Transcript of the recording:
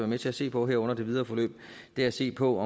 med til at se på her under det videre forløb er at se på